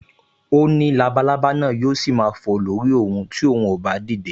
O ní labalábá náà yóò ṣì máa fò lórí òun ti òun ò bá dìde